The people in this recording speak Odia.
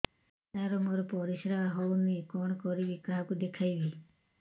ସାର ମୋର ପରିସ୍ରା ଯାଉନି କଣ କରିବି କାହାକୁ ଦେଖେଇବି